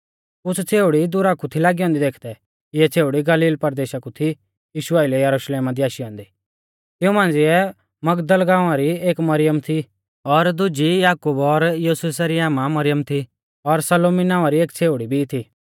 कुछ़ छ़ेउड़ी दुरा कु थी लागी ऐन्दी देखदै इऐ छ़ेउड़ी गलील परदेशा कु थी यीशु आइलै यरुशलेमा दी आशी औन्दी तिऊं मांझ़िऐ मगदल गाँवा री एक मरियम थी और दुजी याकूब और योसेसा री आमा मरियम थी और सलोमी नावां री एक छ़ेउड़ी भी थी